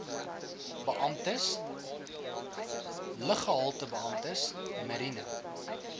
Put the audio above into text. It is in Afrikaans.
beamptes luggehaltebeamptes mariene